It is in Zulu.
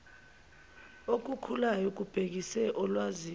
okukhulayo kubhekise olwazini